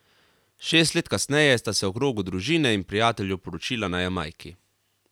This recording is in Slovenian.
Šest let kasneje sta se v krogu družine in prijateljev poročila na Jamajki.